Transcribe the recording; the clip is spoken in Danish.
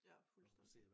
Ja fuldstændig